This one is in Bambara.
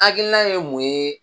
Hakilina ye mun ye